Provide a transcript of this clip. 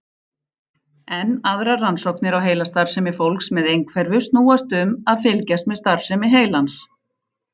Enn aðrar rannsóknir á heilastarfsemi fólks með einhverfu snúast um að fylgjast með starfsemi heilans.